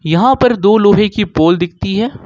यहां पर दो लोहे की पोल दिखाती है।